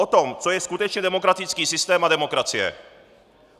O tom, co je skutečně demokratický systém a demokracie.